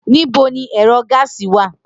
Nibo ni ẹrọ gáásì wa?